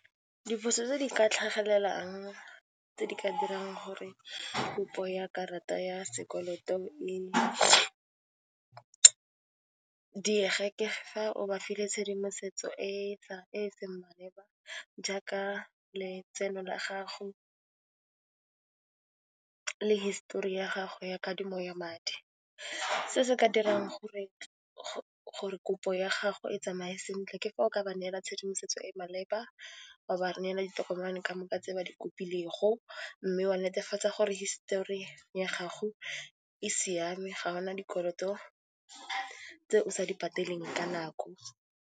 Diphoso tse di ka tlhagelelang tse di ka dirang gore kopo ya karata ya sekoloto e diege ke fa o ba file tshedimosetso e e seng maleba jaaka letseno la gago le hisitori ya gago ya kadimo ya madi. Se se ka dirang gore kopo ya gago e tsamaye sentle ke fa o ka ba neela tshedimosetso e e maleba, wa ba neela ditokomane ka moka tse ba di kopilego, mme wa netefatsa gore hisitori ya gago e siame ga o na dikoloto tse o sa di patelang ka nako.